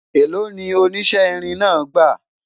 èlò ni o oníṣe irin náà gba?